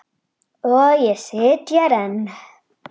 Og ég sit hér enn.